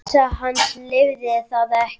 Heilsa hans leyfði það ekki.